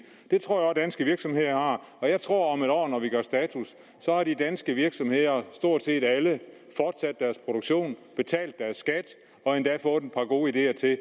det tror danske virksomheder har og jeg tror at om et år når vi gør status har de danske virksomheder stort set alle fortsat deres produktion betalt deres skat og endda fået et par gode ideer til